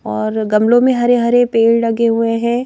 और गमलों में हरे हरे पेड़ लगे हुए हैं।